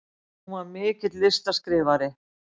Hún var mikill listaskrifari.